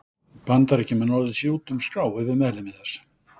Bandaríkjamenn orðið sér úti um skrá yfir meðlimi þess.